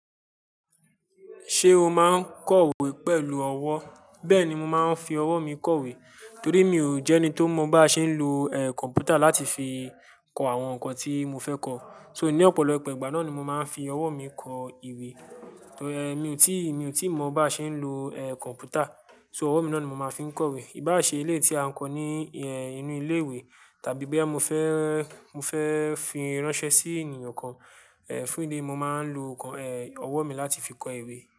Ṣé o máa ń kọwé pẹ̀lú ọwọ́? Bẹ́ẹ̀ni, mo máa ń fi ọwọ́ mi kọwé torí emi ò jẹ́ ẹni to mo bá ṣe ń lo, eh, kọ̀npútà láti fi kọ àwọn ǹkan tí mo fẹ́ kọ. So, ní ọ̀pọ̀lọpọ̀ ìgbà náà ni mo máa ń fi ọwọ́ mi kọ ìwé. Torí, eh, mi ò tí, mi ò tíì mọ bá ṣe ń lo, eh, kọ̀mpútà. So, ọwọ́ mi náà ni mo máa fi ń kọ ìwé. Ìbá à ṣe eleyii tí a ń kọ ní, eh, inú ilé ìwé tàbí boya mo fẹ́, mo fẹ́ fi ránṣẹ́ sí ènìyàn kan, eh, fún idi eyi, mo máa ń lo nǹkan, eh, ọwọ́ mi láti fi kọ ìwé.